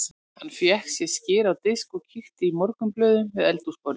Hann fékk sér skyr á disk og kíkti í morgunblöðin við eldhúsborðið.